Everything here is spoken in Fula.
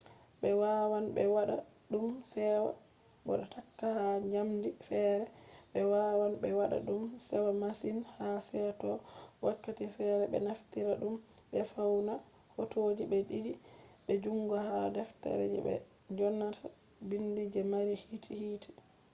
ɓe wawan be wada ɗum sewa bo takka ha njamdi feere. ɓe wawan ɓe waɗa ɗum sewa masin ha seto wakkati feere be naftira ɗum be fauna hotoji be ɗiiɗi be jungo ha defte je be dyonata biindi je mari hiite